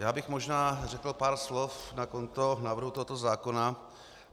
Já bych možná řekl pár slov na konto návrhu tohoto zákona.